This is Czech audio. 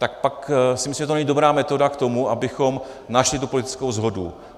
Tak pak si myslím, že to není dobrá metoda k tomu, abychom našli tu politickou shodu.